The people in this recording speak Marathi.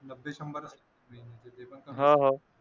मधले शंभर